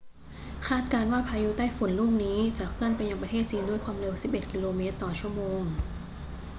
คาดการณ์ว่าพายุไต้ฝุ่นลูกนี้จะเคลื่อนไปยังประเทศจีนด้วยความเร็ว 11 กิโลเมตรต่อชั่วโมง